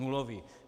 Nulový.